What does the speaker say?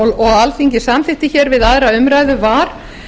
og alþingi samþykkti við önnur umræða var